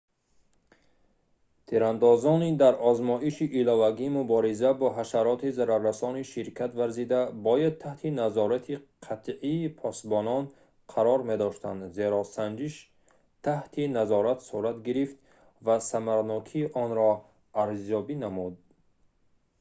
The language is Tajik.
тирандозони дар озмоиши иловагии мубориза бо ҳашароти зараррасон ширкат варзида бояд таҳти назорати қатъии посбонон қарор медоштанд зеро санҷиш таҳти назорат сурат гирифт ва самаранокии онро арзёбӣ намуд